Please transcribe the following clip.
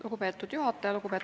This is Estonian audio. Lugupeetud juhataja!